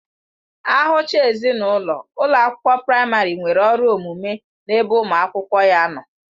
Ahụchaa ezinụlọ, ụlọ akwụkwọ praịmarị nwere ọrụ omume n'ebe ụmụ akwụkwọ ya nọ